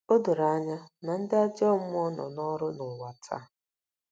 O doro anya na ndị ajọ mmụọ nọ n’ọrụ n’ụwa taa.